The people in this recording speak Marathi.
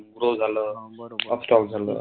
Upstock झालं.